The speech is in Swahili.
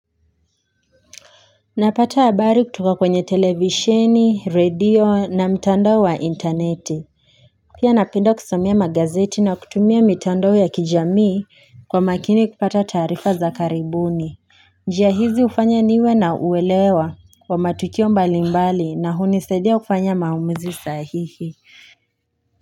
Napata habari kutoka kwenye televisheni, radio na mtandao wa internet. Pia napenda kusomea magazeti na kutumia mitando ya kijamii kwa makini kupata taarifa za karibuni. Njia hizi hufanya niwe na uelewa kwa matukio mbalimbali na hunisadia kufanya maumizi sahihi.